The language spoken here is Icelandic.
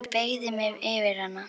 Ég beygi mig yfir hana.